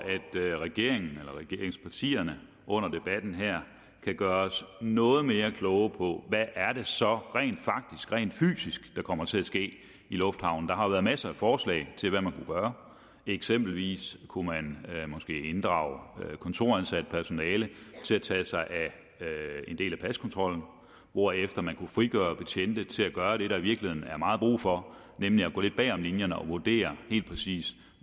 at regeringen eller regeringspartierne under debatten her kan gøre os noget mere kloge på hvad det så er rent faktisk der fysisk kommer til at ske i lufthavnen der har været masser af forslag til hvad man gøre eksempelvis kunne man måske inddrage kontoransat personale til at tage sig af en del af paskontrollen hvorefter man kunne frigøre betjente til at gøre det der i virkeligheden er meget brug for nemlig at gå lidt bagom linjerne og vurdere helt præcist